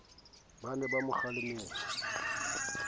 ba ne ba mo kgalemelletse